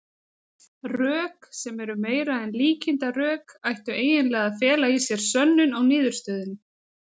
Rök, sem eru meira en líkindarök, ættu eiginlega að fela í sér sönnun á niðurstöðunni.